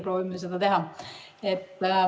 Proovime seda teha.